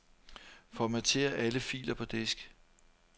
Formater alle filer på disk.